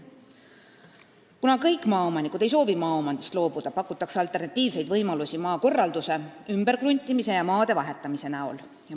Kuna kõik maaomanikud ei soovi maaomandist loobuda, pakutakse alternatiivseid võimalusi: maakorraldus, ümberkruntimine ja maade vahetamine.